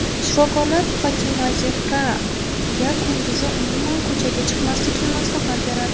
Shifokorlar Fatimazehraga kunduzi umuman ko‘chaga chiqmaslikni maslahat beradi.